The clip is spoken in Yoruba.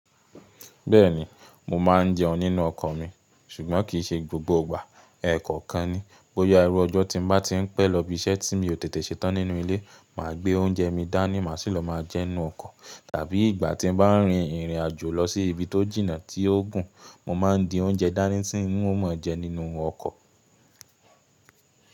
Bẹ́ẹ̀ni, mo ma n jeun nínú ọkọ̀ mi ṣùgbọ́n kì í ṣe gbogbo ìgbà. Ẹ̀ẹ̀kọ̀kan ni. Bóyá irú ọjọ́ tí mo bá ti ń pẹ́ lọ ibi iṣẹ́ tí mi ò tètè ṣe tán nínú ilé, màá gbé oúnjẹ mi dání, màá sì lọ máa jẹ ninu ọkọ̀. Tàbí ìgbà tí mo bá ń rin ìrìn àjò lọ sí ibi tó jìnà tí ó gùn, mo ma ń di oúnjẹ dání tí nwo ma máa jẹ nínú ọkọ̀.